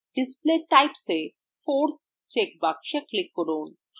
display typesএ force check box click করুন